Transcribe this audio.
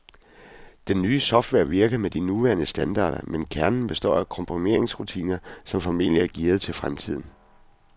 Den nye software virker med de nuværende standarder, men kernen består af komprimeringsrutiner, som formentlig er gearet til fremtiden.